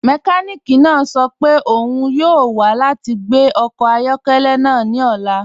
Mẹkànìkì náà sọ́ pẹ́ ọ́un yọọ wa lati gbẹ ọkọ ayọkẹlẹ́ náà ni ọ̀la.